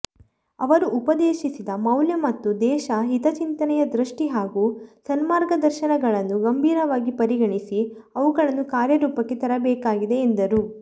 ಅವರು ಉಪದೇಶಿಸಿದ ಮೌಲ್ಯ ಮತ್ತು ದೇಶ ಹಿತಚಿಂತನೆಯ ದೃಷ್ಟಿ ಹಾಗೂ ಸನ್ಮಾರ್ಗದರ್ಶನಗಳನ್ನು ಗಂಭೀರವಾಗಿ ಪರಿಗಣಿಸಿ ಅವುಗಳನ್ನು ಕಾರ್ಯರೂಪಕ್ಕೆ ತರಬೇಕಾಗಿದೆ ಎಂದರು